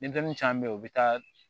Denmisɛnnin caman be ye u be taa